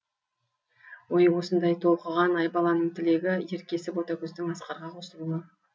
ойы осындай толқыған айбаланың тілегі еркесі ботагөздің асқарға қосылуы